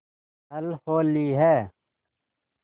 कल होली है